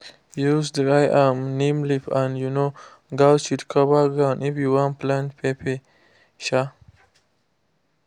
use dry um neem leaf and um goat shit cover ground if you wan plant pepper. um